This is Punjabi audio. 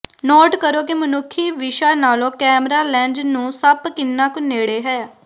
ਨੋਟ ਕਰੋ ਕਿ ਮਨੁੱਖੀ ਵਿਸ਼ਾ ਨਾਲੋਂ ਕੈਮਰਾ ਲੈਂਜ਼ ਨੂੰ ਸੱਪ ਕਿੰਨਾ ਕੁ ਨੇੜੇ ਹੈ